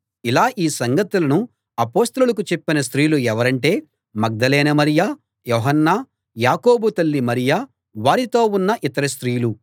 ఇలా ఈ సంగతులను అపొస్తలులకు చెప్పిన స్త్రీలు ఎవరంటే మగ్దలేనే మరియ యోహన్న యాకోబు తల్లి మరియ వారితో ఉన్న యితర స్త్రీలూ